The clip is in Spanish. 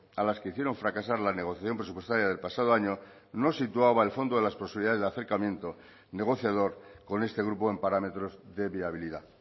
a las que hicieron fracasar la negociación presupuestaria del pasado año no situaba el fondo de las posibilidades de acercamiento negociador con este grupo en parámetros de viabilidad